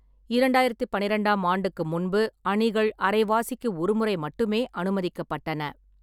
இரண்டாயிரத்து பன்னிரெண்டாம் ஆண்டுக்கு முன்பு அணிகள் அரைவாசிக்கு ஒரு முறை மட்டுமே அனுமதிக்கப்பட்டன.